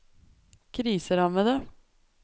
kriserammede